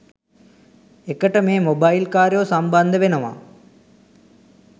එකට මේ මොබයිල් කාරයෝ සම්බන්ද වෙනවා